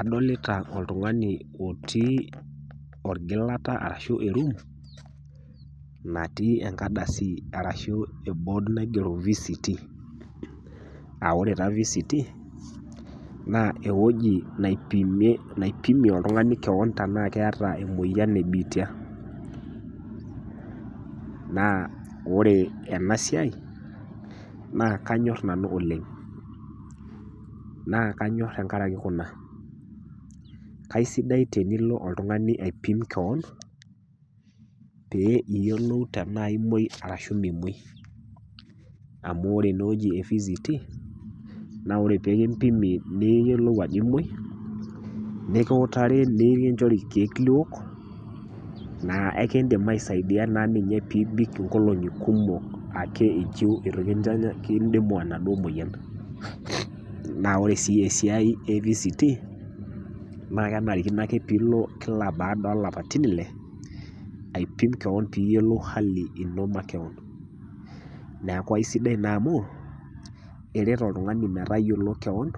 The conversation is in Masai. Adolita oltungani otii orgilata ashu eroom, natii enkardasi arashu ebood naigiero VCT aa wore taa VCT, naa ewoji naipimie oltungani kewon tenaa keeta emoyian ee biitia. Naa wore ena siai, naa kanyor nanu oleng', naa kanyor tenkaraki kuna. Kaisidai tenilo oltungani aipim kewon, pee iyolou tenaa imoi arashu mimoi. Amu wore enewuoji e VCT naa wore pee kimpimi niyiolou ajo imoi, nikiutaru nikinchori irkiek liwok, naa eekindim aisaidia naa ninye pee ibik inkolongi kumok ake inchiu itu kintanyam kindimu enaduo moyian. Naa wore si esiai e VCT naa kenarikino ake piilo kila baada oo lapaitin Ile, aipim kewon pee iyiolou hali ino makewon. Neeku aisidai naa amu, eret oltungani metayiolo kewon